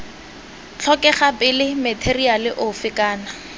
tlhokega pele matheriale ofe kana